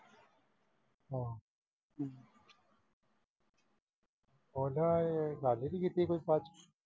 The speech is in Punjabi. ਓਦਾਂ ਇਹਨੇ ਗੱਲ ਨਈਂ ਕੀਤੀ ਖ਼ਾਸ।